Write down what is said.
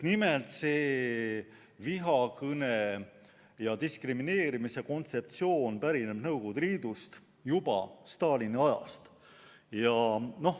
Nimelt, see vihakõne ja diskrimineerimise kontseptsioon pärineb Nõukogude Liidust, juba Stalini ajast.